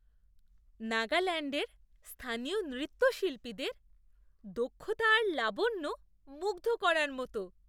নাগাল্যাণ্ডের স্থানীয় নৃত্যশিল্পীদের দক্ষতা আর লাবণ্য মুগ্ধ করার মতো।